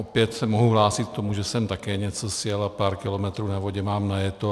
Opět se mohu hlásit k tomu, že jsem také něco sjel a pár kilometrů na vodě mám najeto.